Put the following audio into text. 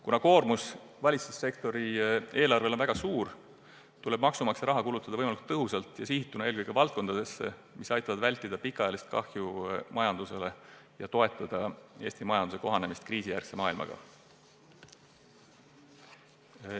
Kuna koormus valitsussektori eelarvele on väga suur, tuleb maksumaksja raha kulutada võimalikult tõhusalt ja suunata see eelkõige nendesse valdkondadesse, mis aitavad vältida pikaajalist kahju majandusele ja toetada Eesti majanduse kohanemist kriisijärgse maailmaga.